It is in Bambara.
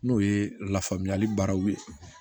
N'o ye lafaamuyali baaraw ye